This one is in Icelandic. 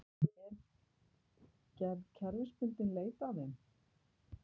Er gerð kerfisbundinn leit að þeim